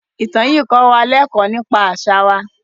Ìtàn yìí kọ́ wa lẹ́kọ̀ọ́ nípa àṣà wa.